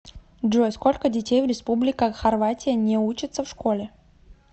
джой сколько детей в республика хорватия не учатся в школе